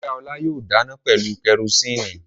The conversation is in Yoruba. Ìyá Ọlá yóò dáná pẹ̀lú kẹrósíínì.